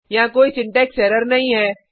यहाँ कोई syntax error नहीं है